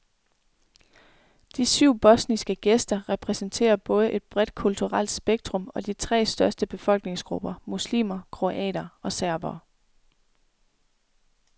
De syv bosniske gæster repræsenterer både et bredt kulturelt spektrum og de tre største befolkningsgrupper, muslimer, kroater og serbere.